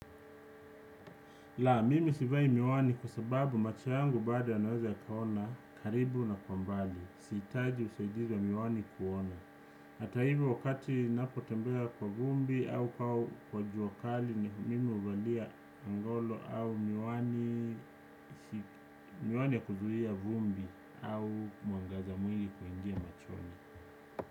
Laa! Mimi sivai miwani kwa sababu macho yangu bado yanaweza yakaona karibu na kwa mbali. Sihitaji usaidizi wa miwani kuona. Hata hivyo wakati napo tembea kwa vumbi au kwa jua kali mimi huvalia ngolo au miwani ya kuzuia vumbi au mwangaza mwingi kuingia machoni.